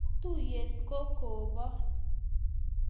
Katuyet ko kobo